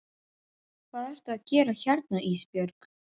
Hvað ertu að gera hérna Ísbjörg?